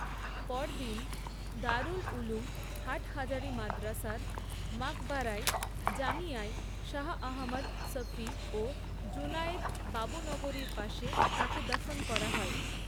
পরদিন, দারুল উলুম, হাটহাজারী মাদ্রাসার মাকবারায় জামিয়ায় শাহ আহমদ শফী ও জুনায়েদ বাবুনগরীর পাশে তাঁকে দাফন করা হয়।